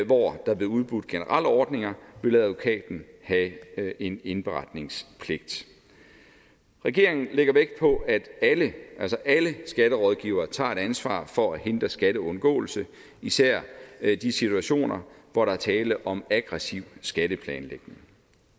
hvor der blev udbudt generelle ordninger ville advokaten have en indberetningspligt regeringen lægger vægt på at alle skatterådgivere tager et ansvar for at hindre skatteundgåelse især i de situationer hvor der er tale om aggressiv skatteplanlægning